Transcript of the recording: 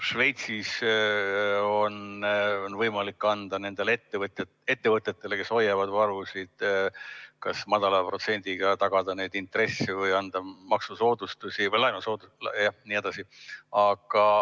Šveitsis on võimalik tagada nendele ettevõtetele, kes hoiavad varusid, madala protsendiga intressid või anda neile maksusoodustusi jne.